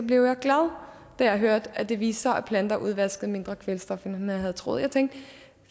blev jeg glad da jeg hørte at det viste sig at planter udvaskede mindre kvælstof end man havde troet jeg tænkte